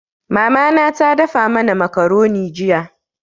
Mama na ta dafa mana makaroni jiya.